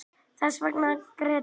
Þessvegna grét ég